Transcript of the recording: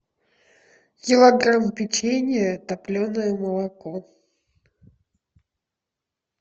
килограмм печенья топленое молоко